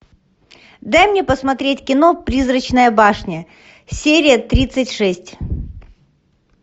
дай мне посмотреть кино призрачная башня серия тридцать шесть